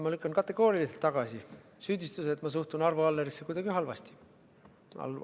Ma lükkan kategooriliselt tagasi süüdistuse, et ma suhtun Arvo Allerisse kuidagi halvasti.